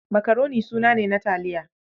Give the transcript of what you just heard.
Makaroni suna ne na taliya